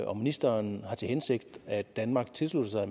om ministeren har til hensigt at danmark tilslutter